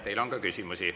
Teile on ka küsimusi.